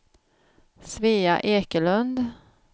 Svea Ekelund